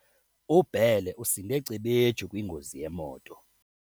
UBhele usinde cebetshu kwingozi yemoto.